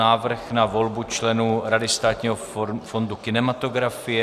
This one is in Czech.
Návrh na volbu členů Rady Státního fondu kinematografie